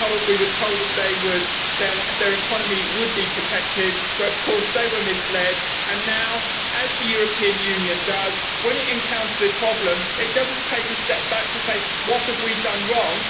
they were told that their economy would be protected, but they were misled, and now, as the European Union does when it encounters a problem, it does not take a step back to ask what have we done wrong?'